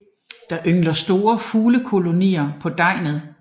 Der yngler store fuglekolonier på Deget